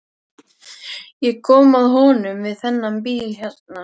Ég kom að honum við þennan bíl hérna.